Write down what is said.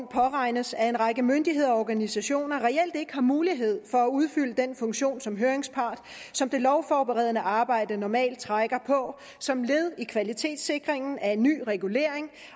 påregnes at en række myndigheder og organisationer reelt ikke har mulighed for at udfylde den funktion som høringspart som det lovforberedende arbejde normalt trækker på som led i kvalitetssikringen af ny regulering